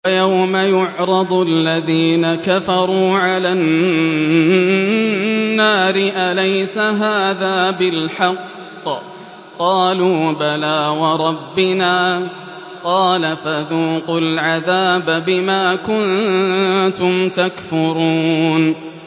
وَيَوْمَ يُعْرَضُ الَّذِينَ كَفَرُوا عَلَى النَّارِ أَلَيْسَ هَٰذَا بِالْحَقِّ ۖ قَالُوا بَلَىٰ وَرَبِّنَا ۚ قَالَ فَذُوقُوا الْعَذَابَ بِمَا كُنتُمْ تَكْفُرُونَ